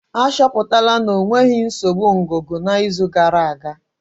Achọpụtara ya na ọ nwere nsogbu ngụgụ na izu gara aga